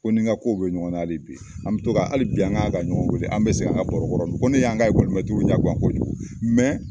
Ko n ni n ka kow be ɲɔgɔn na hali bi an kan ka ɲɔgɔn wele an be segin an ka baro kɔrɔ ko ne y'an ka ɲɛ gan kojugu,